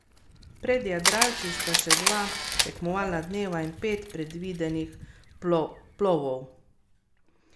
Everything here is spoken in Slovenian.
Zaradi odkritij se je minister odločil za izredni nadzor tako na agenciji za promet kot na direktoratu za promet.